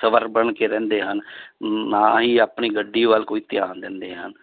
ਸਭ ਬਣ ਕੇ ਰਹਿੰਦੇ ਹਨ ਨਾ ਹੀ ਆਪਣੀ ਗੱਡੀ ਵੱਲ ਕੋਈ ਧਿਆਨ ਦਿੰਦੇ ਹਨ